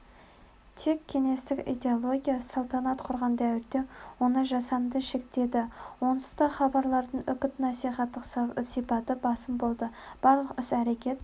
тек кеңестік идеология салтанат құрған дәуірде оны жасанды шектеді онсыз да хабарлардың үгіт-насихаттық сипаты басым болды барлық іс-әрекет